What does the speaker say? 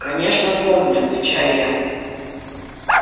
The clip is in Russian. конечно помню отвечаю я